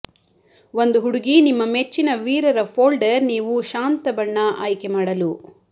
ಒಂದು ಹುಡುಗಿ ನಿಮ್ಮ ಮೆಚ್ಚಿನ ವೀರರ ಫೋಲ್ಡರ್ ನೀವು ಶಾಂತ ಬಣ್ಣ ಆಯ್ಕೆ ಮಾಡಲು